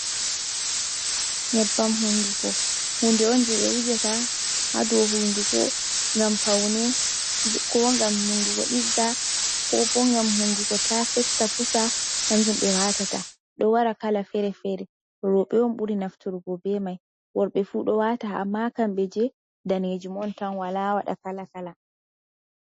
Nyebbam hunduko, hunde on jey ɓe wujata haa dow hunduko ngam pawne koo ngam hunduko ɗigga koo boo ngam hunduko taa fetta pusa, kanjum ɓe waatata, ɗo wara kala fere-fere, rooɓe on ɓuri nafturgo bee may, worɓe fuu ɗo waata amma kamɓe jey daneejum on tan walaa waɗa kala kala.